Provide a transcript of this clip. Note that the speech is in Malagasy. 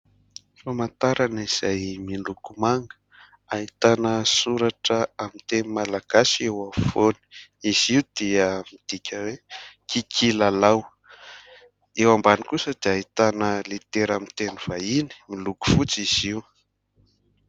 Fahamantarana izay miloko manga ; ahitana soratra amin'ny teny malagasy eo afovoany ; izy io dia midika hoe : "Kikilalao". Eo ambany kosa dia ahitana litera amin'ny teny vahiny, miloko fotsy izy io.